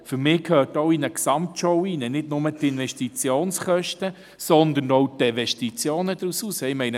Für mich gehören in eine Gesamtschau nicht nur die Investitionskosten, sondern auch die Desinvestitionen, die sich daraus ergeben.